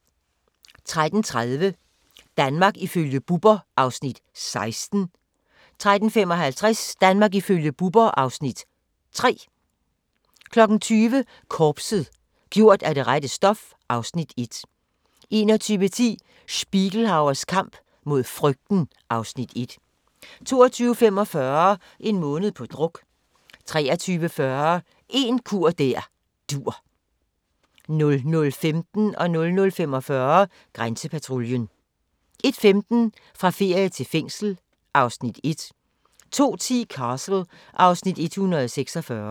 13:30: Danmark ifølge Bubber (Afs. 16) 13:55: Danmark ifølge Bubber (Afs. 3) 20:00: Korpset - gjort af det rette stof (Afs. 1) 21:10: Spiegelhauers kamp mod frygten (Afs. 1) 22:45: En måned på druk 23:40: En kur der dur 00:15: Grænsepatruljen 00:45: Grænsepatruljen 01:15: Fra ferie til fængsel (Afs. 1) 02:10: Castle (Afs. 146)